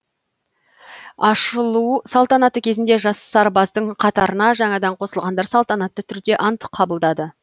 ашылу салтанаты кезінде жас сарбаздың қатарына жаңадан қосылғандар салтанатты түрде ант қабылдады